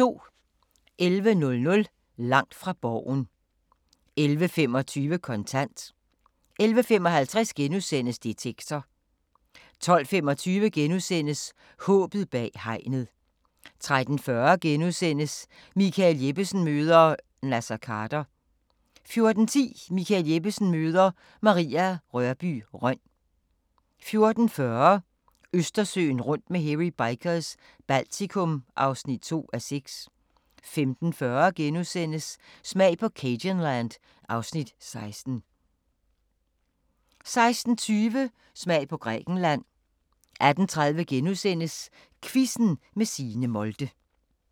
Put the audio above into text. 11:00: Langt fra Borgen 11:25: Kontant 11:55: Detektor * 12:25: Håbet bag hegnet * 13:40: Michael Jeppesen møder ... Naser Khader * 14:10: Michael Jeppesen møder ... Maria Rørbye Rønn 14:40: Østersøen rundt med Hairy Bikers – Baltikum (2:6) 15:40: Smag på cajunland (Afs. 16)* 16:20: Smag på Grækenland 18:30: Quizzen med Signe Molde *